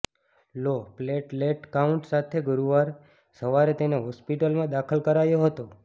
લો platelet count સાથે ગુરૂવારે સવારે તેને હોસ્ટિપટલમાં દાખલ કરાયો હતો